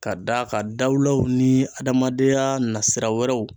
Ka d'a kan dawulaw ni adamadenya nasira wɛrɛw